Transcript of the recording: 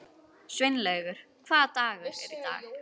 Sveinlaugur, hvaða dagur er í dag?